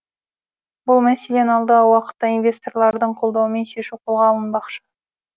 бұл мәселені алдағы уақытта инвесторлардың қолдауымен шешу қолға алынбақшы